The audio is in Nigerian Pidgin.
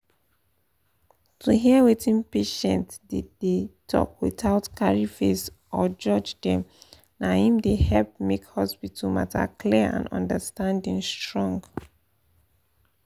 to hear wetin patient dey dey talk without carry face or judge dem na him dey help make hospital matter clear and understanding strong.